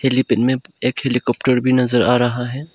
ये दिन में एक हेलीकॉप्टर भी नज़र आ रहा है।